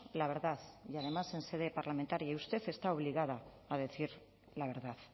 la verdad y además en sede parlamentaria y usted está obligada a decir la verdad